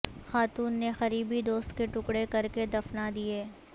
خاتون نے قریبی دوست کے ٹکڑے کرکے دفنا دیئے